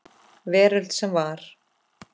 Veröld sem var.